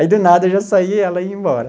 Aí do nada eu já saía e ela ia embora.